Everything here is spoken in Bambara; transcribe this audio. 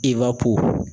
Iba ko